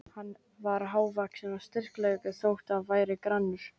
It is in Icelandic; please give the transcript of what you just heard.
Hann var hávaxinn og sterklegur þótt hann væri grannur.